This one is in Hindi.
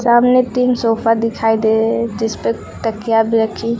सामने तीन सोफा दिखाई दे जिस पे तकिया भी रखी है।